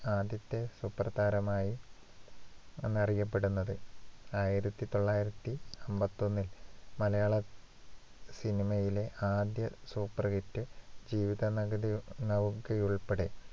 ആദ്യത്തെ സൂപ്പർതാരമായി അന്നറിയപ്പെടുന്നത്. ആയിരത്തി തൊള്ളായിരത്തി അമ്പത്തൊന്നില്‍ മലയാള cinema യിലെ ആദ്യ superhit ജീവിത ജീവിതനൗകയുൾപ്പെടെ